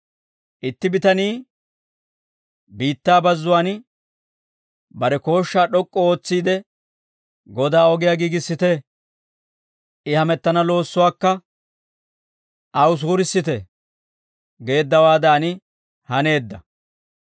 Itti bitanii biittaa bazzuwaan bare kooshshaa d'ok'k'u ootsiide, ‹Godaa ogiyaa giigissite. I hamettana loossuwaakka, aw suurissite› geeddawaadan» haneedda.